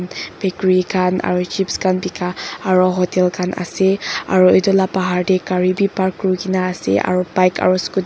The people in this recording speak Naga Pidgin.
bakery khan aru chips khan dika aro hotel kgan ase aro itu la bahar teh gari wii park kurigena ase aro bike aro scooty .